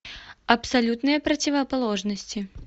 абсолютные противоположности